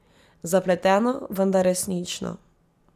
Zapleteno, vendar resnično.